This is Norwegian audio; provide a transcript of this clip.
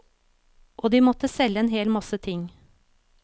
Og de måtte selge en hel masse ting.